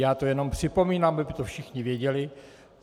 Já to jenom připomínám, aby to všichni věděli.